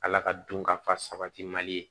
Ala ka dun ka fa sabati mali ye